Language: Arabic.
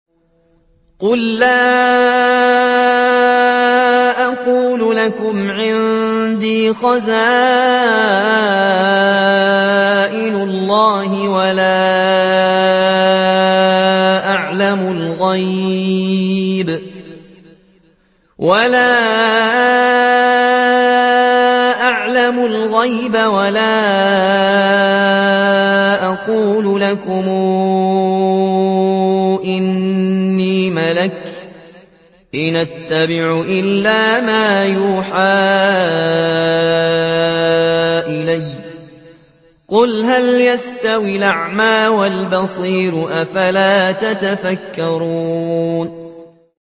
قُل لَّا أَقُولُ لَكُمْ عِندِي خَزَائِنُ اللَّهِ وَلَا أَعْلَمُ الْغَيْبَ وَلَا أَقُولُ لَكُمْ إِنِّي مَلَكٌ ۖ إِنْ أَتَّبِعُ إِلَّا مَا يُوحَىٰ إِلَيَّ ۚ قُلْ هَلْ يَسْتَوِي الْأَعْمَىٰ وَالْبَصِيرُ ۚ أَفَلَا تَتَفَكَّرُونَ